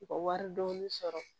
U ka wari dɔɔnin sɔrɔ